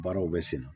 Baaraw bɛ sen na